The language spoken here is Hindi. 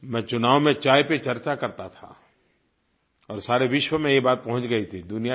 मैं चुनाव में चाय पर चर्चा करता था और सारे विश्व में ये बात पहुँच गई थी